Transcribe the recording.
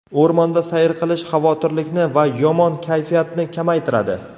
O‘rmonda sayr qilish xavotirlikni va yomon kayfiyatni kamaytiradi.